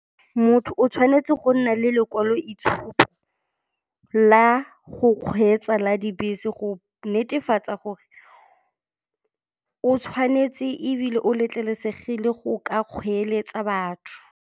Motho o tshwanetse go nna le lekwalo-itshupo la go kgweetsa la dibese go netefatsa gore o tshwanetse ebile o letlelesegile go ka kgoeletsa batho.